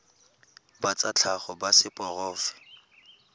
ba tsa tlhago ba seporofe